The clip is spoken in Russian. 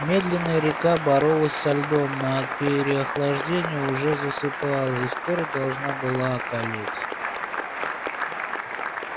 медленная река боролась со льдом на переохлаждения уже засыпала и скоро должна была околеть